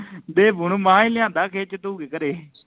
ਦੇਬੂ ਨੂੰ ਮਹਾ ਹੀ ਲਿਆਂਦਾ ਖਿੱਚ ਧੂ ਕੇ ਘਰੇ